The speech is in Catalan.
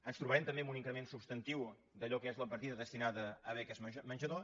ens trobarem també amb un increment substantiu d’allò que és la partida destinada a beques menjador